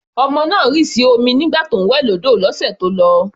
Ọmọ náà rì sí omi nígbà tí ó ń wẹ̀ lọ́dọ̀ ní ọ̀sẹ̀ tó lọ.